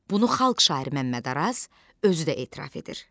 Bunu Xalq şairi Məmməd Araz özü də etiraf edir.